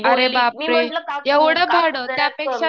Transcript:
ती बोलली. मी म्हटलं काकू हे जास्त तर जरा कमी